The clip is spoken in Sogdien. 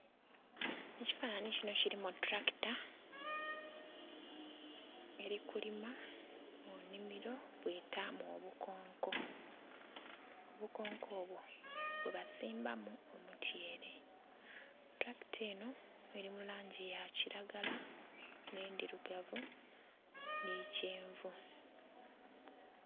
Ekifanhanhi kino kirimu etulakita erikulima munimiro bwetamu obukonko, obukonko obwo bwebasimbamu omutyere. Tulakita eno erimulangi yakiragala, n'edhirugavu ni kyenvu.